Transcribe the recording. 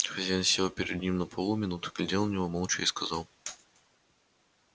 хозяин сел перед ним на полу минуту глядел на него молча и сказал